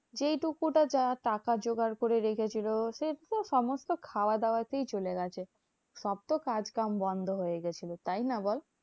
সেইটুকু তা যা টাকা জোগাড় করে রেখেছিল, সেতো সমস্ত খাওয়া দাওয়াতেই চলে গেছে। সব তো কাজ কাম বন্ধ হয়ে গেছিল, তাইনা বল?